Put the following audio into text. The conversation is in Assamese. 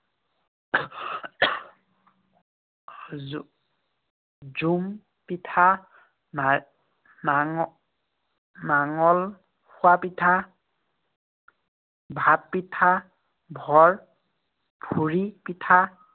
জো~ জোন পিঠা, না~ নাঙ~ নাঙল খোৱা পিঠা, ভাত পিঠা, ঠুৰী পিঠা